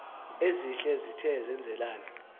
ezihle esithe senzelana